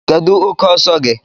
Kedu oke ọsọ gị?